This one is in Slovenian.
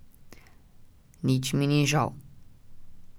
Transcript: Nič mi ni žal.